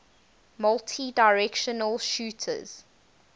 multidirectional shooters